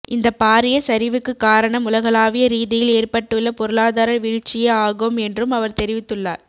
இந்த பாரிய சரிவுக்கு காரணம் உலகளாவிய ரீதியில் ஏற்பட்டுள்ள பொருளாதார வீழ்ச்சியே ஆகும் என்றும் அவர் தெரிவித்துள்ளார்